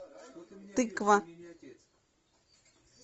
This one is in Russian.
тыква